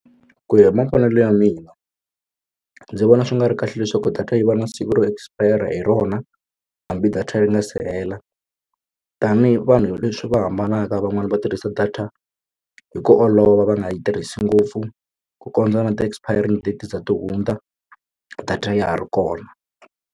Ku ya hi mavonelo ya mina ndzi vona swi nga ri kahle leswaku data yi va na siku ro expire hi rona hambi data ri nga se hela tanihi vanhu swi va hambanaka van'wani va tirhisa data hi ku olova va nga yi tirhisi ngopfu ku kondza na ti-expiring date ze ri hundza data ya ha ri kona.